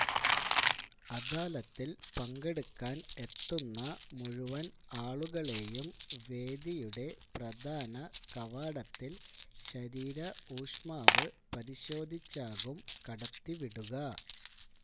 അദാലത്തില് പങ്കെടുക്കാന് എത്തുന്ന മുഴുവന് ആളുകളെയും വേദിയുടെ പ്രധാന കവാടത്തില് ശരീര ഊഷ്മാവ് പരിശോധിച്ചാകും കടത്തിവിടുക